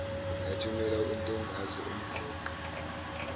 lathumela untombazi umqoqi